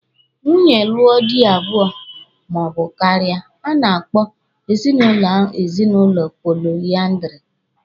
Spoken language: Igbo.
Nwaanyị lụọ di abụọ ma ọ bụ karịa, a na-akpọ ezinụlọ ahụ ezinụlọ poliandiri.